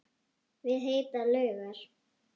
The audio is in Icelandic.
Við heitar laugar